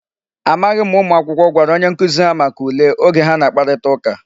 Amaghị ma ụmụ akwụkwọ gwara onye nkụzi ha maka ule, oge ha na-akparịta ụka.